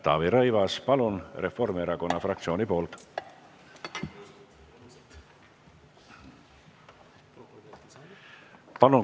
Taavi Rõivas, palun Reformierakonna fraktsiooni nimel!